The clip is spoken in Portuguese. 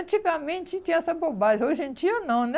Antigamente tinha essa bobagem, hoje em dia não, né?